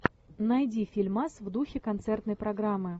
найди фильмас в духе концертной программы